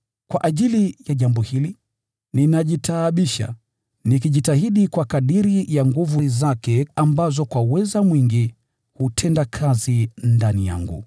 Kwa ajili ya jambo hili, ninajitaabisha, nikijitahidi kwa kadiri ya nguvu zake ambazo hutenda kazi ndani yangu kwa uweza mwingi.